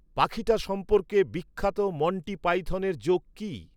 পাখিটা সম্পর্কে বিখ্যাত মণ্টি পাইথনের জোক কী